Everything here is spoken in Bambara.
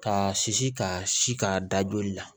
Ka si ka si ka da joli la